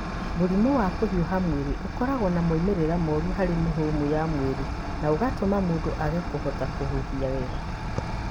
Mũrimũ wa kũhiũha mwĩrĩ ũkoragwo na moimĩrĩro moru harĩ mĩhũmũ ya mwĩrĩ na ũgatũma mũndũ age kũhota kũhuhia wega.